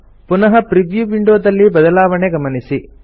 ಪುನಃ ಪ್ರಿವ್ಯೂ ವಿಂಡೋದಲ್ಲಿ ಬದಲಾವಣೆ ಗಮನಿಸಿ